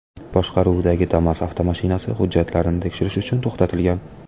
boshqaruvidagi Damas avtomashinasi hujjatlarini tekshirish uchun to‘xtatilgan.